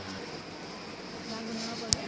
ਨਾ ਗੁਨਣਾ ਪਵੇ